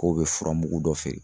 K'o be furamugu dɔ feere